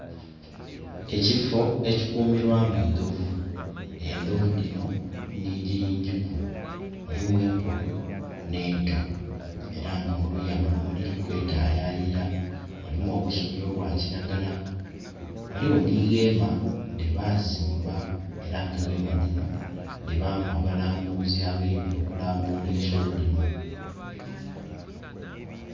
Ekifoo ekikumirwamu endhovu, endhovu dhino nhinji yinji ku mulimu enkulu n'eto era nga muluya muno mwidhiri kwetayayira mulimu obusubi obwakiragala, ghaligho ni weema dhebazimba era nga weema dhino dhibamu abalambuzi abaidhye okulambula ensolo dhino.